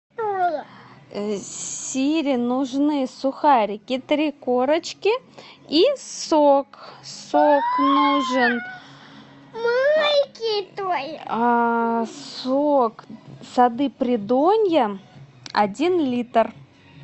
сири нужны сухарики три корочки и сок сок нужен сок сады придонья один литр